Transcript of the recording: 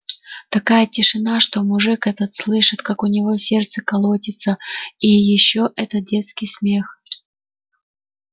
такая тишина что мужик этот слышит как у него сердце колотится и ещё этот детский смех